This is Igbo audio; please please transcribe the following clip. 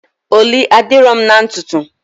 Ọlị adịrọ mụ na ntutu?